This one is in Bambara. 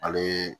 Ale